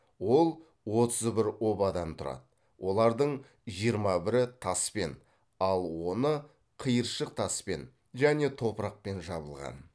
ол отыз бір обадан тұрады олардың жиырма бірі таспен ал оны қиыршық таспен және топырақпен жабылған